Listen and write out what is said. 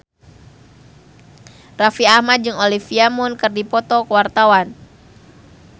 Raffi Ahmad jeung Olivia Munn keur dipoto ku wartawan